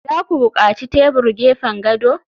za ku buƙaci tebur gefen gado?